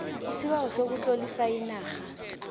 isibawo sokutlolisa inarha